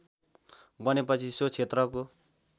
बनेपछि सो क्षेत्रको